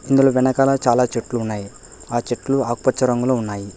ఇందులో వెనకాల చాలా చెట్లు ఉన్నాయి ఆ చెట్లు ఆకు పచ్చ రంగులో ఉన్నాయి.